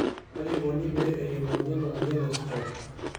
Kaji ikoni pee eyiolouni ena amoyian e SCOT?